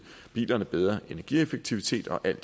bilerne bedre energieffektivitet og alt